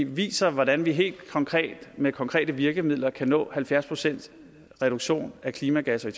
viser hvordan vi helt konkret med konkrete virkemidler kan nå halvfjerds procent reduktion af klimagasser i